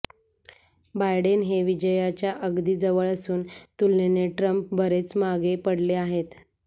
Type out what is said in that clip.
Biden हे विजयाच्या अगदी जवळ असून तुलनेने ट्रम्प बरेच मागे पडले आहेत